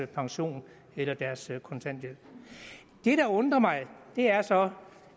pension eller deres kontanthjælp det der undrer mig er så